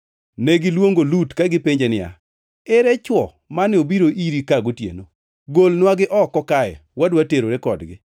Negiluongo Lut ka gipenje niya, “Ere chwo mane obiro iri ka gotieno? Golnwagi oko kae wadwa terore kodgi.”